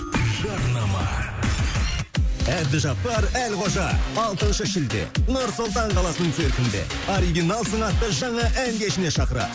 жарнама әбдіжаппар әлқожа алтыншы шілде нұр сұлтан қаласының циркінде оригиналсың атты жаңа ән кешіне шақырады